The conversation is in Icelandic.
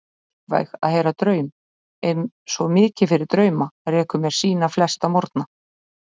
Uppvæg að heyra draum, er svo mikið fyrir drauma, rekur mér sína flesta morgna.